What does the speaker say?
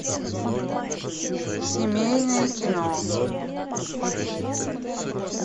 семейное кино